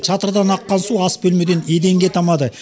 шатырдан аққан су ас бөлемеден еденге тамады